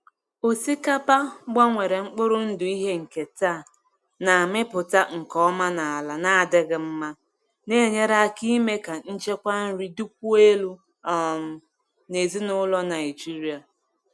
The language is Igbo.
Osikapa gbanwere mkpụrụ ndụ ihe nketa na-amịpụta nke ọma n’ala na-adịghị mma, na-enyere aka ime ka nchekwa nri dịkwuo elu um n’ezinụlọ Naijiria.